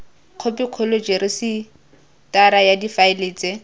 khopikgolo rejisetara ya difaele tse